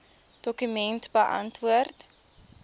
dokument beantwoord